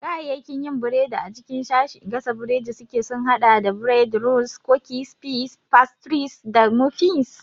Kayayyakin yin burodi a cikin sashin gasa burodi suke sun haɗa da bread, rolls, cookies, pies, pastries, da muffins.